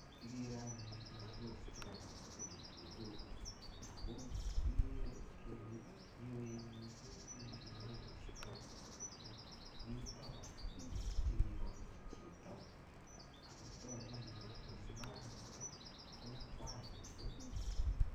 Kikere anyun lagok chekanam pilipili hoho. Ako ikere kele yuoen missing pilipili hoho chutok. Ako nitok, mitei kora ngwek chekikol chito, akotogu anyun kole mbarat nitok, ko akwai missing.